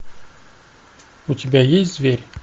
у тебя есть зверь